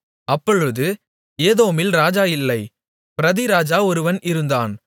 அப்பொழுது ஏதோமில் ராஜா இல்லை பிரதிராஜா ஒருவன் இருந்தான்